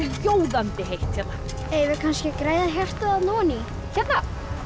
sjóðandi heitt hérna eigum við kannski að græða hjartað þarna oní hérna